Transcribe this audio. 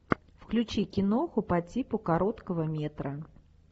включи киноху по типу короткого метра